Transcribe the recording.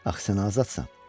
Axı sən azadsan.